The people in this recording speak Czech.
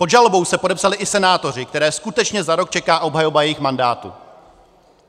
Pod žalobou se podepsali i senátoři, které skutečně za rok čeká obhajoba jejich mandátu.